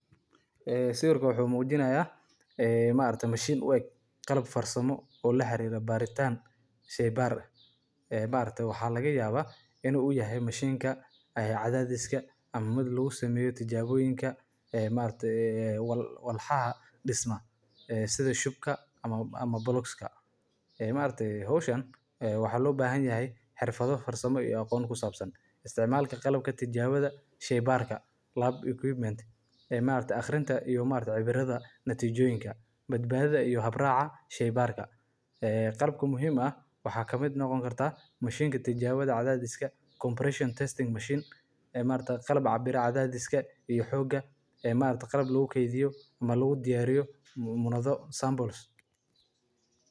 Mishiinnada baakadaha waa qalab muhiim ah oo casri ah oo loo isticmaalo in lagu xirxiro, lagu daboolo, lana diyaariyo badeecooyinka si ay u helaan ilaalin buuxda inta lagu guda jiro gaadiidka iyo kaydinta. Qalabkan wuxuu ka kooban yahay qaybaha farsamada ee kala duwan sida mishiinka xirxidda, mishiinka sumadaynta, mishiinka baakadaha tooska ah iyo kuwa gacanta lagu shaqeeyo.